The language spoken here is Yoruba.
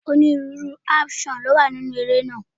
Onírúurú áńṣọ̀n ni ó wà nínúu eré náà.